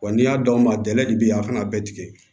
Wa n'i y'a dɔn a bɛ dɛgɛ de bi a kana bɛɛ tigɛ